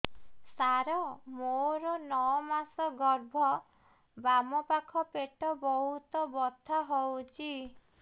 ସାର ମୋର ନଅ ମାସ ଗର୍ଭ ବାମପାଖ ପେଟ ବହୁତ ବଥା ହଉଚି